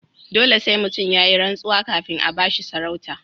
Dole sai mutum yayi rantsuwa kafin a bashi sarauta.